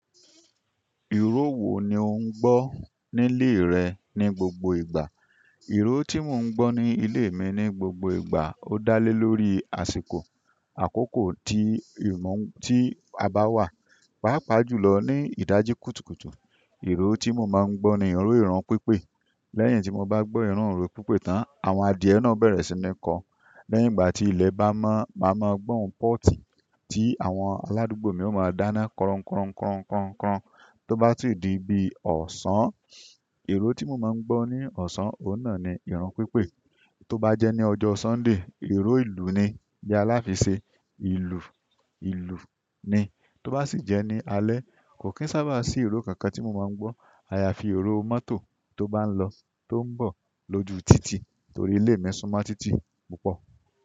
Ìró wo ni ò ń gbọ́ nílé rẹ ní gbogbo ìgbà? Iro ti mo n gbọ ni ile mi ni gbogbo ìgbà o da le lórí àsìkò akoko ti a ba wa páapaa jùlọ ní ìdájí kùtùkùtù, ìró tí mò máa ń gbọ́ ni ìró ìrun pípé. Lẹ́yìn tí mò bá gbọ́ ìró ìrun pípé tán, àwọn adìyẹ náà bẹ̀rẹ̀ sí ní kọ. Lẹ́yìn ìgbà tí ilẹ̀ bá mọ́, màá máa gbọ́n pọ́ọ̀tì tí àwọn aládùúgbò mi ó máa dáná kọrọ́nkọ́ kọrọ́nkọ́ kọrọ́nkọ́. Tó bá sì di bí ọ̀sán, ìró tí mò máa ń gbọ́ ní ọ̀sán, òun náà ni ìrun pípé. Tó bá jẹ́ ní ọjọ́ Sunday, ìró ìlú ni. Bi aláfiṣe, ìlú, ìlú ni. Tó bá sì jẹ́ ní alé, kò kín sábà sí ìró kankan tí mò máa ń gbọ́. Àyàfi ìró mọ́tò tó bá ń lọ, tó ń bọ̀ lójú títì torí ilé mi súnmọ́ títì púpọ̀.